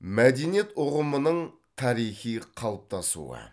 мәдениет ұғымының тарихи қалыптасуы